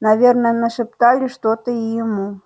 наверное нашептали что-то и ему